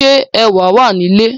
Ṣé ẹ̀wà wà ní ilé?